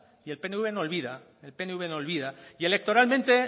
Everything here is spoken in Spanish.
y el pnv no olvida el pnv no olvida y electoralmente